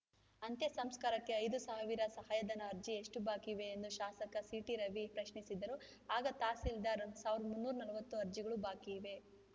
ಅಂತ್ಯ ಸಂಸ್ಕಾರಕ್ಕೆ ಐದು ಸಾವಿರ ಸಹಾಯಧನ ಅರ್ಜಿ ಎಷ್ಟುಬಾಕಿ ಇವೆ ಎಂದು ಶಾಸಕ ಸಿಟಿ ರವಿ ಪ್ರಶ್ನಿಸಿದರು ಆಗ ತಹಸೀಲ್ದಾರ್‌ ಸಾವಿರದ ಮುನ್ನೂರ ನಲವತ್ತು ಅರ್ಜಿಗಳು ಬಾಕಿ ಇವೆ